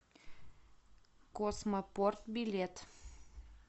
космопорт билет